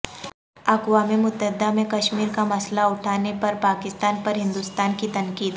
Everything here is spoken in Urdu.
اقوام متحدہ میں کشمیر کا مسئلہ اٹھانے پر پاکستان پر ہندوستان کی تنقید